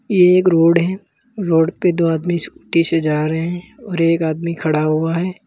ये एक रोड है रोड पर दो आदमी स्कूटी से जा रहे हैं और एक आदमी खड़ा हुआ है।